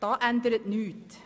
Daran ändert nichts.